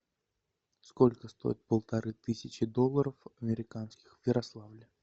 сколько стоит полторы тысячи долларов американских в ярославле